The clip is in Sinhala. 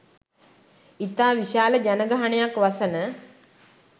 ඉතා විශාල ජනගහනයක් වසන